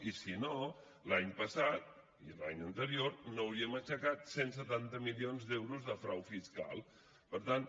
i si no l’any passat i l’any anterior no hauríem aixecat cent i setanta milions d’euros de frau fiscal per tant